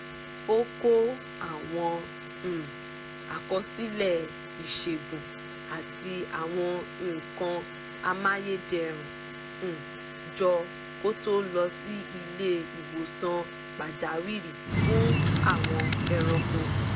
ó kó àwọn um àkọsílẹ̀ ìṣègùn àti àwọn nǹkan amáyédẹrùn um jọ kó tó lọ sí ilé ìwòsàn pàjáwìrì fún àwọn ẹranko